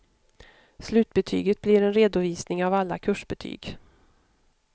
Slutbetyget blir en redovisning av alla kursbetyg.